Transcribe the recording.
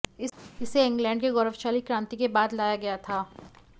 इसे इंग्लैंड के गौरवशाली क्रांति के बाद लाया गया था